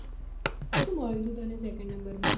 શું મળ્યું હતું second માં